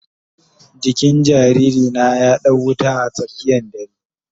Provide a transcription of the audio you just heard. Jikin jariri na ya dau wuta a tsakiyan dare.